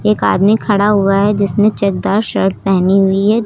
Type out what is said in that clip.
एक आदमी खड़ा हुआ है जिसने चेक दार शर्ट पहनी हुई हैं जो--